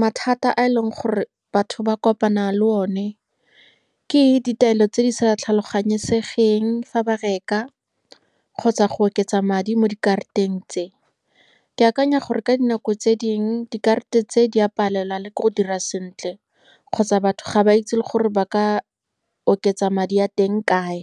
mathata a e leng gore batho ba kopana le one ke ditaelo tse di sa tlhaloganyesegeng fa ba reka kgotsa go oketsa madi mo dikarateng tse. Ke akanya gore ka dinako tse dingwe, dikarata tse di a palelwa le ke go dira sentle, kgotsa batho ga ba itse le gore ba ka oketsa madi a teng kae.